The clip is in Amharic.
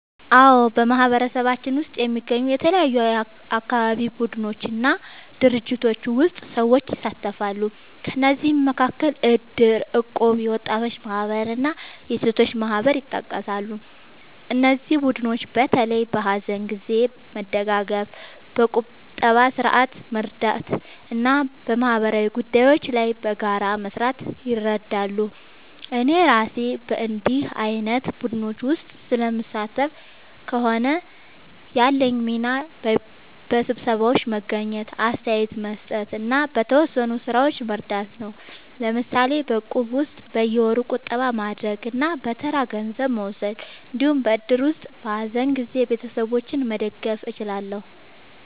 አዎ፣ በማህበረሰባችን ውስጥ የሚገኙ የተለያዩ አካባቢ ቡድኖች እና ድርጅቶች ውስጥ ሰዎች ይሳተፋሉ። ከእነዚህ መካከል እድር፣ እቁብ፣ የወጣቶች ማህበር እና የሴቶች ማህበር ይጠቀሳሉ። እነዚህ ቡድኖች በተለይ በሀዘን ጊዜ መደጋገፍ፣ በቁጠባ ስርዓት መርዳት እና በማህበራዊ ጉዳዮች ላይ በጋራ መስራት ይረዳሉ። እኔ እራሴ በእንዲህ ዓይነት ቡድኖች ውስጥ ስለምሳተፍ ከሆነ፣ ያለኝ ሚና በስብሰባዎች መገኘት፣ አስተያየት መስጠት እና በተወሰኑ ሥራዎች መርዳት ነው። ለምሳሌ በእቁብ ውስጥ በየወሩ ቁጠባ ማድረግ እና በተራ ገንዘብ መውሰድ እንዲሁም በእድር ውስጥ በሀዘን ጊዜ ቤተሰቦችን መደገፍ እችላለሁ።